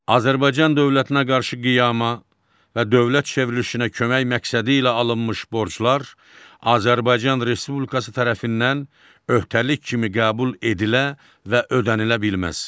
Azərbaycan dövlətinə qarşı qiyama və dövlət çevrilişinə kömək məqsədi ilə alınmış borclar Azərbaycan Respublikası tərəfindən öhdəlik kimi qəbul edilə və ödənilə bilməz.